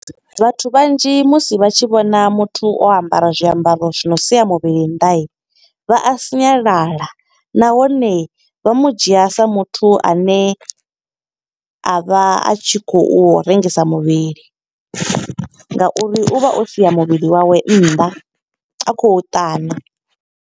Vhathu vhanzhi musi vha tshi vhona muthu o ambara zwiambaro zwi no sia muvhili nnḓa, vha a sinyalala. Nahone vha mu dzhia sa muthu a ne, a vha a tshi khou rengisa muvhili. Nga uri u vha o sia muvhili wawe nnḓa, a khou ṱana.